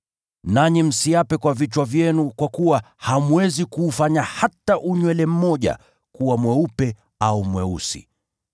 Nanyi msiape kwa vichwa vyenu, kwa kuwa hamwezi kuufanya hata unywele mmoja kuwa mweupe au mweusi.